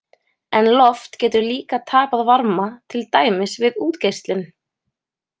En loft getur líka tapað varma, til dæmis við útgeislun.